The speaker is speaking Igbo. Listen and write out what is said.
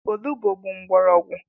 Olugbo bụ mgbọrọgwụ.